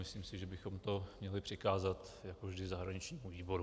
Myslím si, že bychom to měli přikázat jako vždy zahraničnímu výboru.